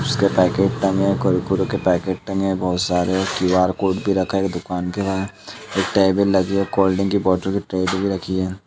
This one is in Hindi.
बिस्कुट पैकेट टंगे हैं। कुरकुरे के पैकेट टंगे हैं बोहोत सारे क्यू आर कोड भी रखा हैं। एक दुकान के बाहर एक टेबल लगी हैं। कोल्डड्रिंक कि बॉटल और ट्रे भी रखी हैं।